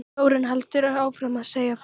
Þórunn heldur áfram að segja frá